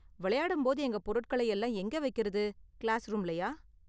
வெளையாடும் போது எங்கள் பொருட்களை எல்லாம் எங்கே வைக்கறது, கிளாஸ்ரூம்லயா?